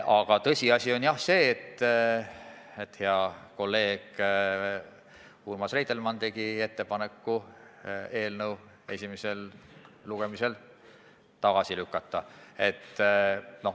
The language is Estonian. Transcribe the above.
Aga tõsiasi on jah see, et hea kolleeg Urmas Reitelmann tegi ettepaneku eelnõu esimesel lugemisel tagasi lükata.